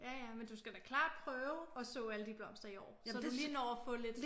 Ja ja men du skal da klart prøve at så alle de blomster i år så du lige når at få lidt